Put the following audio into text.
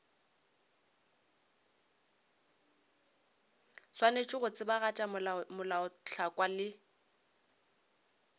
swanetše go tsebagatša melaotlhakwa le